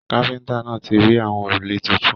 Káfíntà náà tí rà àwọn òrùlé títún.